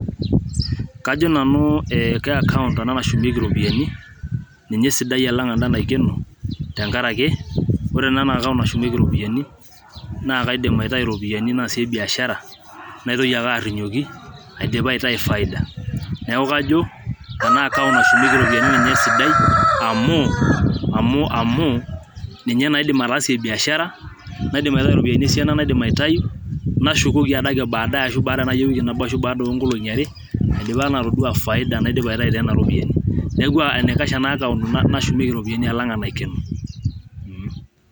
Kajo nanu ke acount ena nashumieki iropiyiani ninye esidai alang enda naikeno tenkaraki ore ena account nashumieki iropiyiani naa kaidim aitayu iropiyiani naasie biashara naitoki ake arinyioki aidipa aitayu faida neeku kajo ena account nashumieki iropiyiani ninye esidai amu amu ninye naa aidim ataasie biashara naidim aitayu iropiyiani esiana naidim aitayu nashukoki adake baadaye ashu baada ewiki nabo ashu baada oonkolongi are aidipa naa atodua faida naidipa aitayu toonana ropiyiani neeku enaikash ena account nashumieki iropiyiani alang enaikeno. mmmh